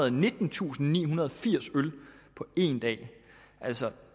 og nittentusindnihundrede og firs øl på en dag altså